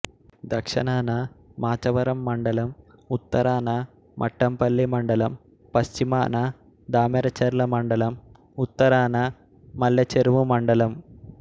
దక్షణాన మాచవరం మండలం ఉత్తరాన మట్టంపల్లి మండలం పశ్చిమాన దామెరచెర్ల మండలం ఉత్తరాన మెల్లచెరువు మండలం